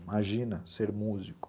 Imagina ser músico.